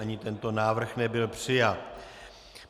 Ani tento návrh nebyl přijat.